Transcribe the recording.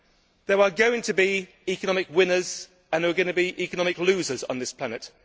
There are going to be economic winners, and there are going to be economic losers on this planet.